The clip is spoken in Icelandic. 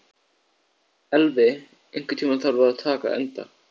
Elvi, einhvern tímann þarf allt að taka enda.